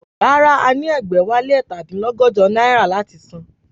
Rárá, a ní ẹgbẹ̀wálé ẹ̀ta dín lọ́gọ́jọ náírà láti san